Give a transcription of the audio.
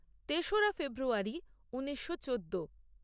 তেসরা ফেব্রুয়ারী ঊনিশো চোদ্দ